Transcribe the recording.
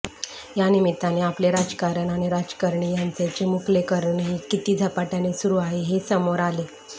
या निमित्ताने आपले राजकारण आणि राजकारणी यांचे चिमुकलेकरणही किती झपाटय़ाने सुरू आहे हे समोर आले